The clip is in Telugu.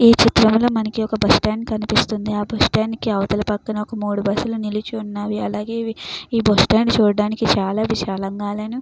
విచిత్రంగా మనకు ఒక బస్టాండ్ కనిపిస్తుంది. ఆ బస్టాండ్ లో అవతల పక్కన మూడు బస్సులు నిలిచి ఉన్నాయి. అలాగే బస్టాండ్ చూడడానికి చాలా బాగుంది.